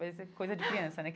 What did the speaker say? Parece coisa de criança, né?